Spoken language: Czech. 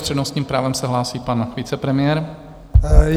S přednostním právem se hlásí pan vicepremiér.